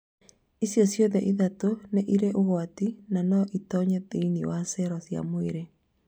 Icio ciothe ithatũ nĩ irĩ ũgwati na no itonye thĩinĩ wa cero cia mwĩrĩ.